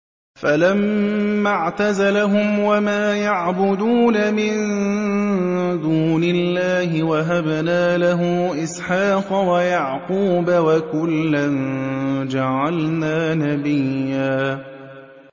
فَلَمَّا اعْتَزَلَهُمْ وَمَا يَعْبُدُونَ مِن دُونِ اللَّهِ وَهَبْنَا لَهُ إِسْحَاقَ وَيَعْقُوبَ ۖ وَكُلًّا جَعَلْنَا نَبِيًّا